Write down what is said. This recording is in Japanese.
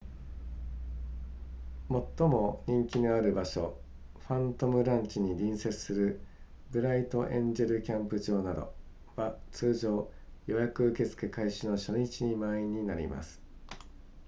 最も人気のある場所ファントムランチに隣接するブライトエンジェルキャンプ場などは通常予約受付開始の初日に満員になります